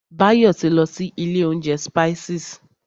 Báyọ̀ ti lọ sí ilé oúnjẹ Spices.